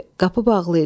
Qapı bağlı idi.